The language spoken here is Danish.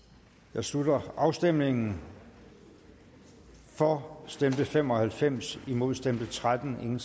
jeg slutter afstemningen for stemte fem og halvfems imod stemte tretten